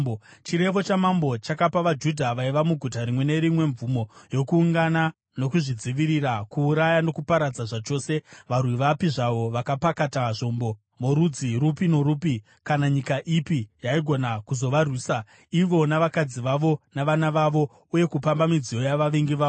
Chirevo chamambo chakapa vaJudha vaiva muguta rimwe nerimwe mvumo yokuungana nokuzvidzivirira; kuuraya nokuparadza zvachose varwi vapi zvavo vakapakata zvombo, vorudzi rupi norupi, kana nyika ipi yaigona kuzovarwisa ivo navakadzi vavo navana vavo; uye kupamba midziyo yavavengi vavo.